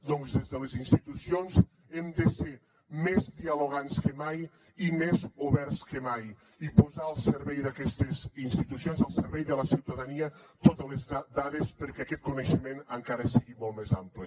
doncs des de les institucions hem de ser més dialogants que mai i més oberts que mai i posar al servei d’aquestes institucions al servei de la ciutadania totes les dades perquè aquest coneixement encara sigui molt més ampli